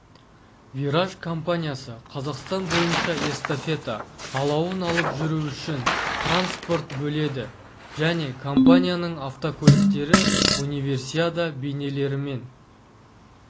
вираж компаниясы қазақстан бойынша эстафета алауын алып жүру үшін транспорт бөледі және компанияның автокөліктері универсиада бейнелерімен